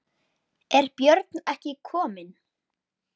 Er Björn ekki kominn?